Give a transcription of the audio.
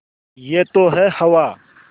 यह तो है हवा